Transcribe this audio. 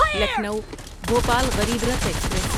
Lucknow Bhopal Garib Rath express